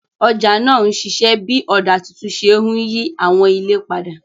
Ọjà náà ń ṣiṣẹ́ bí ọ̀dà tuntun ṣe ń yí àwọn ilé padà.